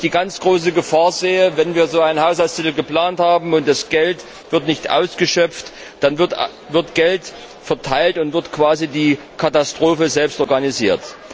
Ich sehe die ganz große Gefahr, wenn wir so einen Haushaltstitel geplant haben und das Geld nicht ausgeschöpft wird, dann wird Geld verteilt und wird quasi die Katastrophe selbst organisiert.